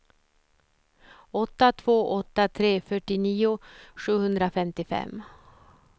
åtta två åtta tre fyrtionio sjuhundrafemtiofem